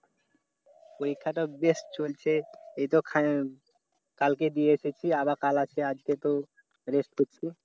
পরীক্ষাটা বেশ চলছে এইতো কালকে দিয়ে এসেছি। আবার কাল আছে, আজকে একটু rest করছি।